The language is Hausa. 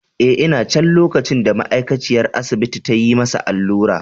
Eh, ina can lokacin da ma’aikaciyar asibiti ta yi masa allura.